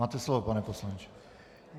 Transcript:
Máte slovo, pane poslanče.